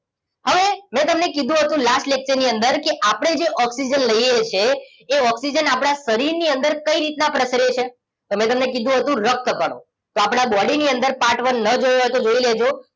હવે મેં તમને કીધુ હતું last lecture ની અંદર કે આપણે જે ઓક્સિજન લઈએ છીએ એ ઓક્સિજન આપણા શરીરની અંદર કઈ રીતના પ્રસરે છે તો મેં તમને કીધું હતું રક્તકણો તો આપણા body ની અંદર part one ન જોયો હોય તો જોઈ લેજો